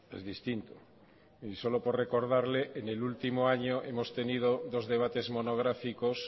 es distinto solo por recordarle en el último año hemos tenido dos debates monográficos